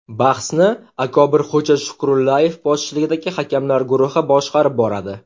Bahsni Akobirxo‘ja Shukrullayev boshchiligidagi hakamlar guruhi boshqarib boradi.